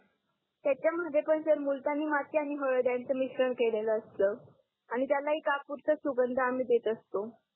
त्याच्यामध्ये पण सर मुलतानी माती आणि हळद यांच मिश्रण केलेल असतं आणि त्याला ही कापूरचा सुगंध आम्ही देत असतो